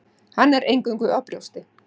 Hann er eingöngu á brjósti.